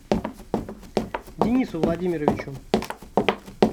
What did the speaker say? денису владимировичу